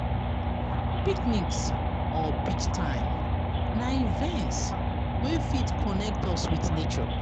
Picnics or beach time na events wey fit connect us with nature